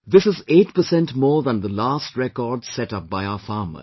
This is 8 percent more than the last record set up by our farmers